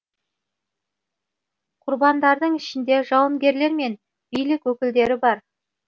құрбандардың ішінде жауынгерлер мен билік өкілдері бар